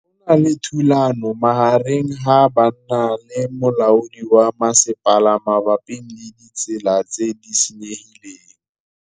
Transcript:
Go na le thulanô magareng ga banna le molaodi wa masepala mabapi le ditsela tse di senyegileng.